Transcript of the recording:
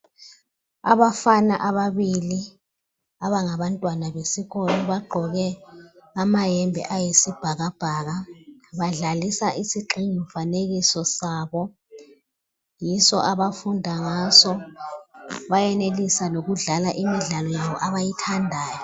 Abafana ababili abangabantwana besikolo bagqoke amayembe ayisibhakabhaka. Badlalisa isigxingi mfanekiso sabo, yiso abafunda ngaso bayenelisa lokudlala imidlalo yabo abayithandayo.